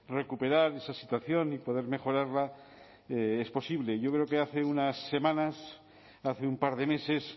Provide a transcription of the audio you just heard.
recuperar esa situación y poder mejorarla es posible yo creo que hace unas semanas hace un par de meses